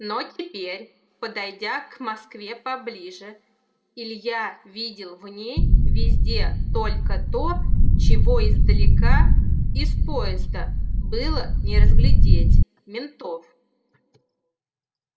но теперь подойдя к москве поближе илья видел в ней везде только то чего издалека из поезда было не разглядеть ментов